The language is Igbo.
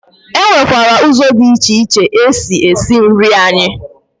E nwekwara ụzọ dị iche iche esi esi nri anyị